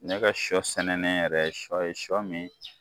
Ne ka sɔ sɛnɛnen yɛrɛ ye sɔ ye sɔ min